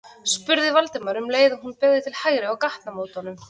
spurði Valdimar um leið og hún beygði til hægri á gatnamótunum.